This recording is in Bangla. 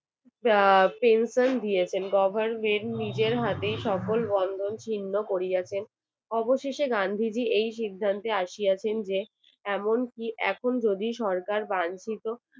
নিজের হাতেই সকল বন্ধন ছিন্ন করিয়াছেন অবশেষে গান্ধীজি এই সিদ্ধান্তে আসিয়াছেন যে এমন কি এখন যদি সরকার বাঞ্ছিত